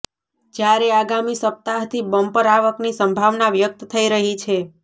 જ્યારે આગામી સપ્તાહથી બમ્પર આવકની સંભાવના વ્યક્ત થઈ રહી છે